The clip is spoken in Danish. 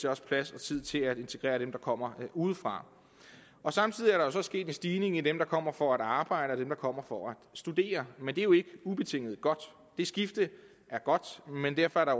også plads og tid til at integrere dem der kommer udefra samtidig er der jo så sket en stigning i dem der kommer for at arbejde der kommer for at studere men det er jo ikke ubetinget godt det skifte er godt men derfor er der